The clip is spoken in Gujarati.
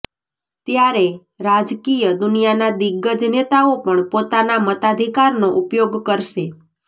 ત્યારે રાજકિય દુનિયાના દિગ્ગજ નેતાઓ પણ પોતાના મતાધિકારનો ઉપયોગ કરશે